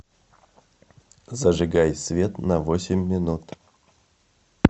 зажигай свет на восемь минут